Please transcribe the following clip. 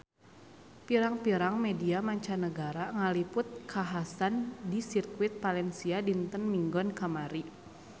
Pirang-pirang media mancanagara ngaliput kakhasan di Sirkuit Valencia dinten Minggon kamari